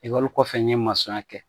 kɔfɛ n ye ya kɛ